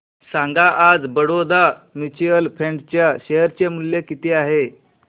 सांगा आज Baroda mutual fund च्या शेअर चे मूल्य किती आहे